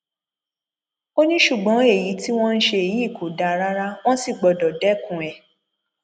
ó ní ṣùgbọn èyí tí wọn ń ṣe yìí kò dáa rárá wọn sì gbọdọ dẹkùn ẹ